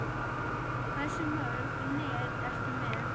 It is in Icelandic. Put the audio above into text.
Hversu mörg net ertu með?